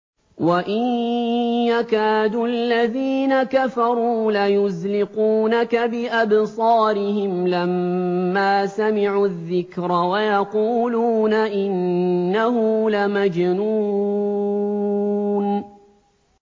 وَإِن يَكَادُ الَّذِينَ كَفَرُوا لَيُزْلِقُونَكَ بِأَبْصَارِهِمْ لَمَّا سَمِعُوا الذِّكْرَ وَيَقُولُونَ إِنَّهُ لَمَجْنُونٌ